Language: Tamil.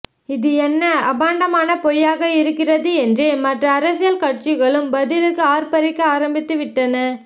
இது என்ன அபாண்டமான பொய்யாக இருக்கிறது என்று மற்ற அரசியல் கட்சிகளும் பதிலுக்கு ஆற்பறிக்க ஆரம்பித்து விட்டன